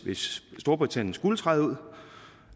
hvis storbritannien skulle træde ud